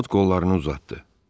Ovod qollarını uzatdı.